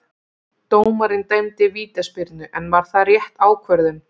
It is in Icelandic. Dómarinn dæmdi vítaspyrnu, en var það rétt ákvörðun?